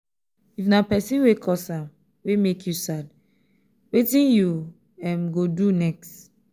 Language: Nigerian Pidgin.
if na pesin wey cause am wey mek yu sad wetin yu um go um do next